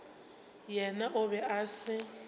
yena o be a se